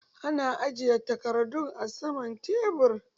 Ana ajiye takardu a saman tebur